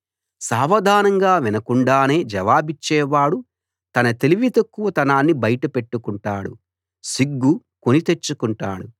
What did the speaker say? సావధానంగా వినకుండానే జవాబిచ్చేవాడు తన తెలివి తక్కువతనాన్ని బయట పెట్టుకుంటాడు సిగ్గు కొని తెచ్చుకుంటాడు